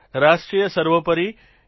રાષ્ટ્ર સર્વોપરી છે